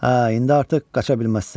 Hə, indi artıq qaça bilməzsən.